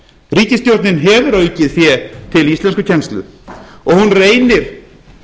ríkisstjórnin hefur aukið fé til íslenskukennslu og hún reynir